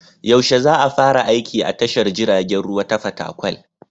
Yaushe a fara aiki a tashar jiragen ruwa ta Fatakwal?